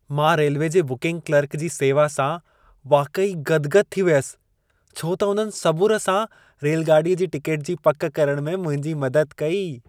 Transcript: मां रेल्वे जे booking clerk जी सेवा सां वाक़ई गदि-गदि थी वियसि, छो त उन्हनि सबुर सां रेलगाॾीअ जी टिकेट जी पक करण में मुंहिंजी मदद कई।